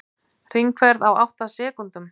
Hringferð á átta sekúndum